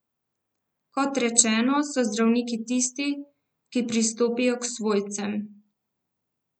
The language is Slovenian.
Kot rečeno, so zdravniki tisti, ki pristopijo k svojcem.